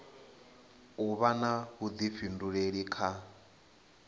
u vha na vhuḓifhinduleli kha